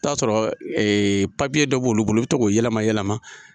I bi taa sɔrɔ dɔ b'olu bolo i bɛ to g'o yɛlɛma yɛlɛma.